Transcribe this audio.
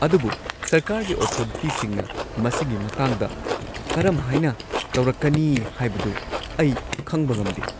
ꯑꯗꯨꯕꯨ ꯁꯔꯀꯥꯔꯒꯤ ꯑꯣꯊꯣꯔꯤꯇꯤꯁꯤꯡꯅ ꯃꯁꯤꯒꯤ ꯃꯇꯥꯡꯗ ꯀꯔꯝꯍꯥꯏꯅ ꯇꯧꯔꯛꯀꯅꯤ ꯍꯥꯏꯕꯗꯨ ꯑꯩ ꯈꯪꯕ ꯉꯝꯗꯦ꯫